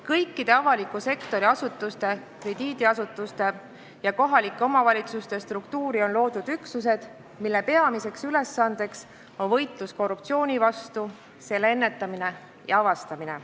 Kõikide avaliku sektori asutuste, krediidiasutuste ja kohalike omavalitsuste struktuuri on loodud üksused, mille peamine ülesanne on võitlus korruptsiooni vastu, korruptsiooni ennetamine ja avastamine.